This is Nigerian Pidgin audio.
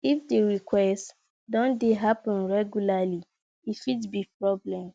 if di request don dey happen regularly e fit be problem